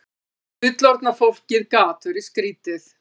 Fullorðna fólkið gat verið skrýtið.